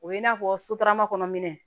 O ye i n'a fɔ sotarama kɔnɔ minɛn